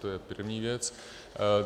To je první věc.